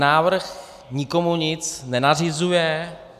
Návrh nikomu nic nenařizuje.